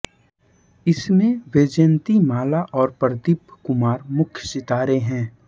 इसमें वैजयन्ती माला और प्रदीप कुमार मुख्य सितारें हैं